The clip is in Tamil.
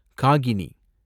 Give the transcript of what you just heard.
காகினி